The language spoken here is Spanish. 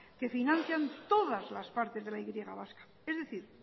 que financian todas las partes de la y vasca es decir